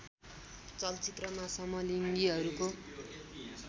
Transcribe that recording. चलचित्रमा समलिङ्गीहरूको